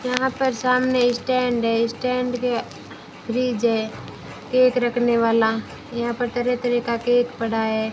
यहां पर सामने स्टैंड है स्टैंड के फ्रिज है केक रखने वाला यहां पर तरह तरह का केक पड़ा है।